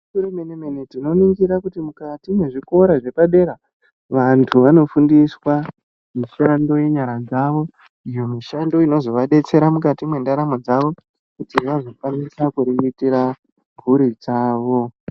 Gwinyiso remene mene, tinoningira kuti mukati mwezvikora zvepadera vantu vanofundiswa mishando yenyara dzavo iyo mishando inozovadetsera mukati mwendaramo dzavo, kui vazokwanisa kuriritira mhuri dzavo.